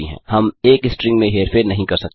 हम एक स्ट्रिंग में हेरफेर नहीं कर सकते हैं